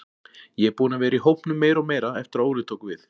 Ég er búinn að vera í hópnum meira og meira eftir að Óli tók við.